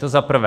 To za prvé.